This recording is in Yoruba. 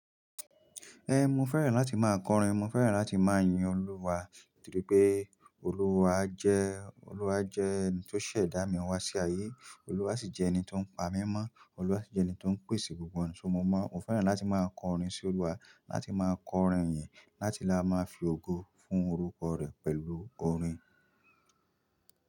Ẹ́, mo fẹ́ràn láti máa kọrin, mo fẹ́ràn láti máa yin Olúwa nítorí pé Olúwa jẹ́, Olúwa jẹ́ ẹni tó ṣẹ̀dá mi wá sí ayé, Olúwa sì jẹ́ ẹni tó ń pa mí mọ́, Olúwa sì jẹ́ ẹni tó ń pèsè gbogbo ohun tí mo mọ̀. Mo fẹ́ràn láti máa kọrin sí Olúwa, láti máa kọrin ìyìn, láti lá máa fi ògo fún orúkọ rẹ̀ pẹ̀lú orin.